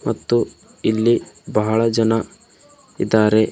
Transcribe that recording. ಮತ್ತು ಇಲ್ಲಿ ಬಳ ಜನ ಇದಾರೆ.